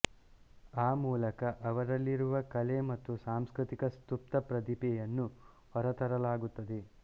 ಆ ಮೂಲಕ ಅವರಲ್ಲಿರುವ ಕಲೆ ಮತ್ತು ಸಾಂಸ್ಕೃತಿಕ ಸುಪ್ತ ಪ್ರತಿಭೆಯನ್ನು ಹೊರತರಲಾಗುತ್ತದೆ